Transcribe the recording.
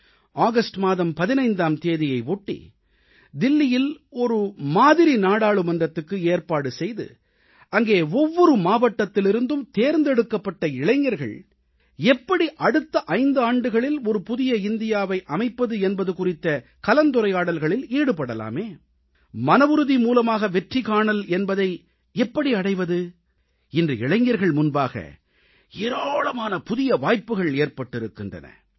August மாதம் 15ஆம் தேதியை ஒட்டி தில்லியில் ஒரு மாதிரி நாடாளுமன்றத்துக்கு ஏற்பாடு செய்து அங்கே ஒவ்வொரு மாவட்டத்திலிருந்தும் தேர்ந்தெடுக்கப்பட்ட இளைஞர்கள் எப்படி அடுத்த 5 ஆண்டுகளில் ஒரு புதிய இந்தியாவை அமைப்பது என்பது குறித்த கலந்துரையாடல்களில் ஈடுபடலாமே மனவுறுதி மூலமாக வெற்றி காணல் என்பதை எப்படி அடைவது இன்று இளைஞர்கள் முன்பாக ஏராளமான புதிய வாய்ப்புக்கள் ஏற்பட்டிருக்கின்றன